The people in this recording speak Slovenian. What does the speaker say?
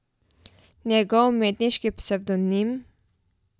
Njegov umetniški psevdonim?